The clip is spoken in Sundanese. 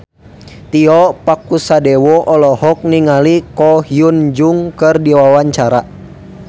Tio Pakusadewo olohok ningali Ko Hyun Jung keur diwawancara